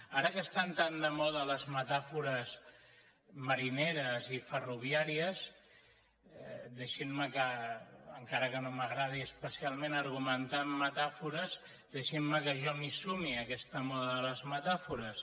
ara que estan tan de moda les metàfores marineres i ferroviàries deixin me encara que no m’agradi especialment argumentar amb metàfores que jo m’hi sumi a aquesta moda de les metàfores